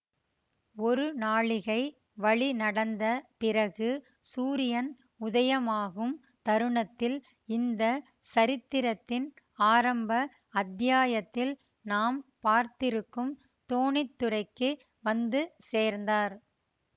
ஒரு நாழிகை வழி நடந்த பிறகு சூரியன் உதயமாகும் தருணத்தில் இந்த சரித்திரத்தின் ஆரம்ப அத்தியாயத்தில் நாம் பார்த்திருக்கும் தோணித்துறைக்கு வந்து சேர்ந்தார்